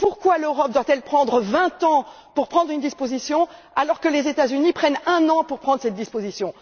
Pourquoi l'Europe doit elle mettre 20 ans pour prendre une disposition alors que les États Unis mettent un an pour prendre cette disposition?